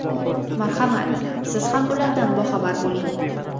Marhamat, siz ham ulardan boxabar bo‘ling.